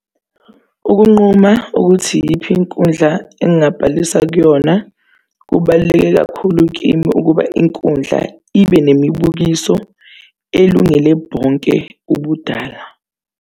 Ukunquma ukuthi iyiphi inkundla engingabhalisa kuyona, kubaluleke kakhulu kimi ukuba inkundla ibe nemibukiso elungele bonke ubudala.